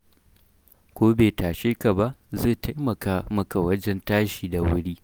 Ko bai tashe ka ba, zai taimaka maka wajen tashi da wuri.